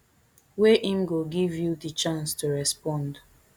wey im go give you di chance to respond